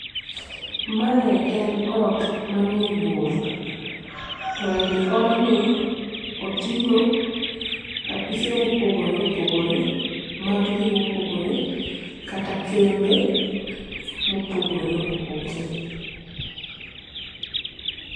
Mae en ot manie boma to ei odni oting'o apise mopogore opogore mag gima opogore kata kembe mopogore opogore.